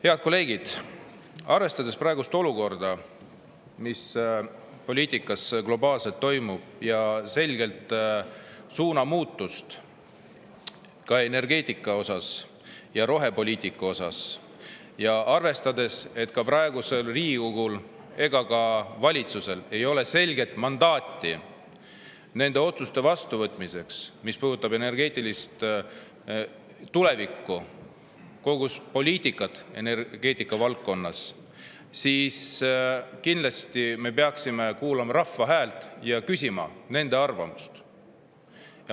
Head kolleegid, arvestades praegust olukorda, seda, mis poliitikas globaalselt toimub, selget suunamuutust ka energeetikas ja rohepoliitikas, ja arvestades, et praegusel Riigikogul ega valitsusel ei ole selget mandaati nende otsuste vastuvõtmiseks, mis puudutavad meie energeetilist tulevikku, kogu poliitikat energeetika valdkonnas, peame me kindlasti kuulama rahva häält ja küsima arvamust.